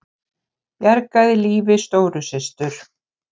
Bjargaði lífi stóru systur